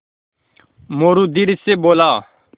मोरू धीरे से बोला